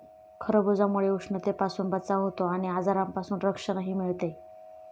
खरबुजामुळे उष्णतेपासून बचाव होतो आणि आजारांपासून संरक्षणही मिळते.